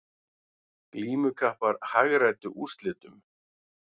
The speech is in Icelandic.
Glímukappar hagræddu úrslitum